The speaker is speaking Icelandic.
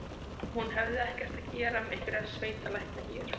Hún hefði ekkert að gera með einhverja sveitalækna hér.